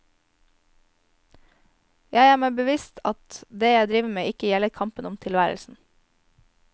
Jeg er meg bevisst at det jeg driver med ikke gjelder kampen om tilværelsen.